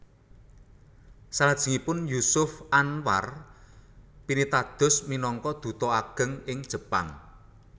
Salajengipun Jusuf Anwar pinitados minangka duta ageng ing Jepang